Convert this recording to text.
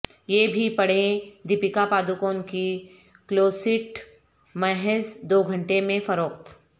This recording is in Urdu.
یہ بھی پڑھیں دیپکا پڈوکون کی کلوسیٹ محض دو گھنٹے میں فروخت